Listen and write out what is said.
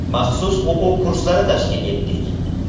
Maxsus o‘quv kurslari tashkil etdik.